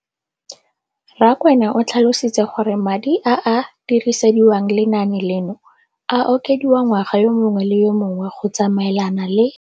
Rakwena o tlhalositse gore madi a a dirisediwang lenaane leno a okediwa ngwaga yo mongwe le yo mongwe go tsamaelana le.